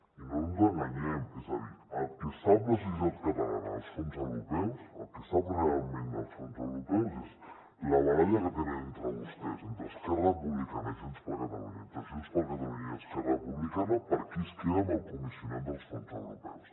i no ens enganyem és a dir el que sap la societat catalana dels fons europeus el que sap realment dels fons europeus és la baralla que tenen entre vostès entre esquerra republicana i junts per catalunya entre junts per catalunya i esquerra republicana per qui es queda amb el comissionat dels fons europeus